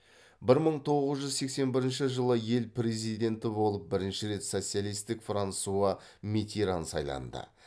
бір мың тоғыз жүз сексен бірінші жылы ел президенті болып бірінші рет социалистік франсуа миттеран сайланды